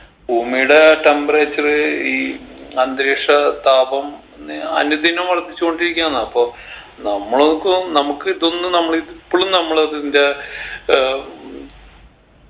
ഭൂമിയുടെ temperature ഈ അന്തരീക്ഷ താപം ഇന്ന് അനുദിനം വർദ്ധിച്ചോണ്ടിരിക്കയാന്ന് അപ്പൊ നമ്മൾക്കും നമ്മുക്ക് ഇതൊന്നും നമ്മള് ഇത് ഇപ്പളും നമ്മളിതിൻറെ ഏർ